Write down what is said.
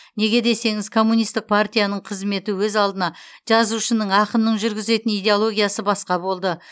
неге десеңіз коммунистік партияның қызметі өз алдына жазушының ақынның жүргізетін идеологиясы басқа болды